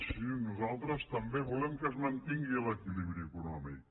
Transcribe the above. sí nosaltres també volem que es mantingui l’equilibri econòmic